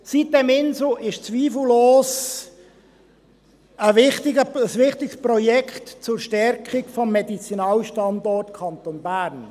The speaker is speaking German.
Die sitem-Insel ist zweifellos ein wichtiges Projekt zur Stärkung des Medizinalstandorts Kanton Bern.